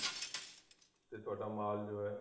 ਤੇ ਤੁਹਾਡਾ ਮਾਲ ਜੋ ਹੈ